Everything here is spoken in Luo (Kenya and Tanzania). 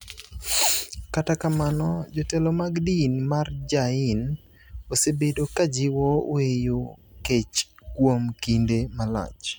Kata kamano, jotelo mag din mar Jain osebedo ka jiwo weyo kech kuom kinde malach.